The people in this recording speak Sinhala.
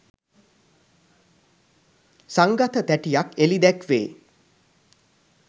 සංගත තැටියක් එලි දැක්වේ